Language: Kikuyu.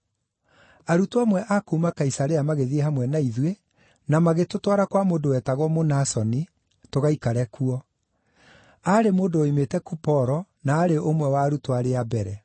Arutwo amwe a kuuma Kaisarea magĩthiĩ hamwe na ithuĩ, na magĩtũtwara kwa mũndũ wetagwo Mũnasoni, tũgaikare kuo. Aarĩ mũndũ woimĩte Kuporo, na aarĩ ũmwe wa arutwo arĩa a mbere.